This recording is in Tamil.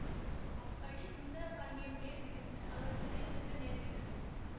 அப்பழி சுந்தரபாண்டியன் மேல் விழுந்து அவர் சிறை செல்ல நேருகிறது